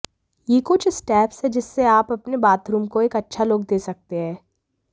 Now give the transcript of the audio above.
ये कुछ स्टेप्स हैं जिससे आप अपने बाथरूम को एक अच्छा लुक दे सकते हैं